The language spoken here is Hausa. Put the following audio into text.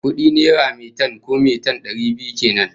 Kudi naira metan, ko maitan, dari biyu kenan